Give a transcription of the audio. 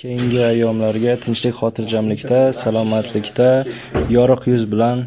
Keyingi ayyomlarga tinchlik-xotirjamlikda, salomatlikda, yorug‘ yuz bilan